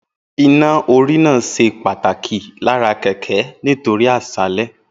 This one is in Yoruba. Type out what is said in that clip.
Iná-orí náà ṣe pàtàkì lára kẹ̀kẹ́ nítorí àṣálẹ́